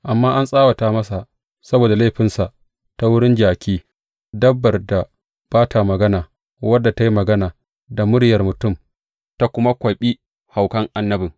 Amma an tsawata masa saboda laifinsa ta wurin jaki, dabbar da ba ta magana, wadda ta yi magana da muryar mutum ta kuma kwaɓi haukan annabin.